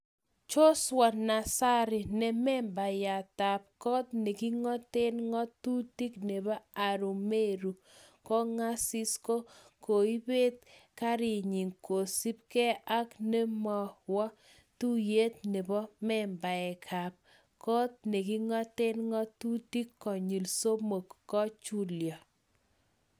Joshua Nassari ne membayatab koot nekingoten ngotutik nebo Arumeru Kong'asis ko kaibet ngerenyin kosipke ak ne mowo tuiyet nebo membaekap kot nekingaten ngotutik konyil somok kipchulyo